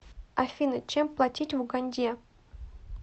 афина чем платить в уганде